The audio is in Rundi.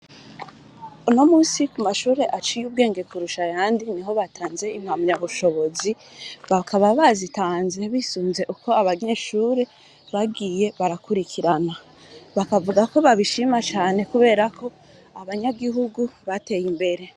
No musi ku mashure aciye ubwenge kurusha yandi ni ho batanze impamya bushobozi bakaba bazitanze bisunze uko abanyeshure bagiye barakurikirana bakavuga ko babishima cane kuberako abanyagihugu bateye imbere.